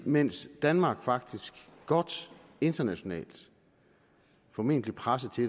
mens danmark faktisk internationalt formentlig presset til